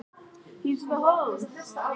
Sveinberg, hækkaðu í græjunum.